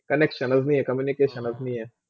connection अजमी communication लजमी हे.